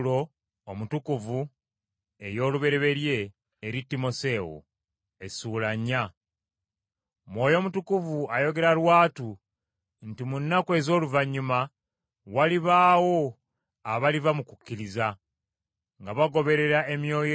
Mwoyo Mutukuvu ayogera lwatu nti mu nnaku ez’oluvannyuma walibaawo abaliva mu kukkiriza, nga bagoberera emyoyo egiwubisa, n’enjigiriza ya baddayimooni,